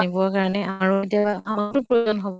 জানিবৰ কাৰণে আৰু কেতিয়াবা আমাৰো প্ৰয়োজন হʼব